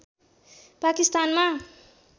पाकिस्तानमा